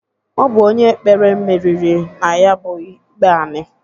Ọ bụ onye kpere meriri na ya bụ ikpe anị.